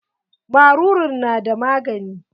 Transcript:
Maruru na da magani?